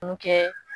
Mun kɛ